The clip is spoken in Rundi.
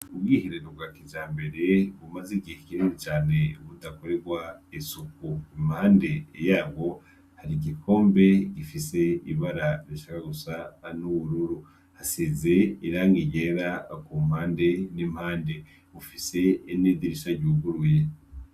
Ubwiherero bwa kijambere bumaze igihe kinini cane budakorerwa isuku. Impande yabwo hari igikombe gifise ibara rishaka gusa n'ubururu. Hasize irangi ryera ku mpande n'impande. Bufise n'idirisha ryuguruye.